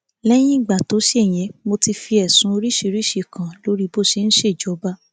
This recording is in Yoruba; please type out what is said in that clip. lẹyìn ìgbà tó ṣe ìyẹn mo ti fi ẹsùn oríṣiríṣiì kàn án lórí bó ṣe ń ṣèjọba